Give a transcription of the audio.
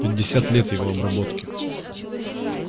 пятьдесят лет его обработки